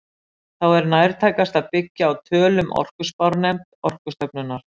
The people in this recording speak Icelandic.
Þá er nærtækast að byggja á tölum orkuspárnefnd Orkustofnunar.